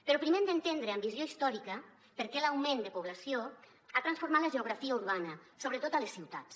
però primer hem d’entendre amb visió històrica per què l’augment de població ha transformat la geografia urbana sobretot a les ciutats